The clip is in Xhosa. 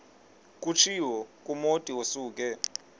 kutshiwo kumotu osuke